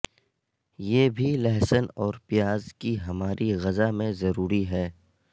یہ بھی لہسن اور پیاز کی ہماری غذا میں ضروری ہے